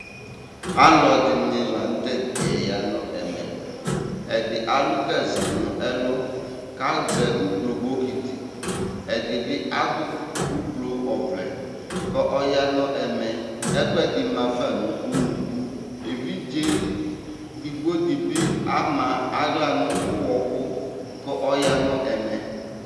alɔɖini lanu tɛdɖiɛ yanu ɛmɛ ɛdì alu gaze nu ɛlù kazɛ ùblo bokiti ɛdìbi adu ùblo oʋlɛ kɔya nu ɛmè ɛkuɛdi mafa nu unuku éʋidze ɖigbo dibi ama aɣla nu uhɔku kɔya nu ɛmè